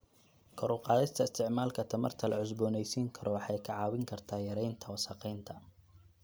Kor u qaadista isticmaalka tamarta la cusboonaysiin karo waxay ka caawin kartaa yareynta wasakheynta.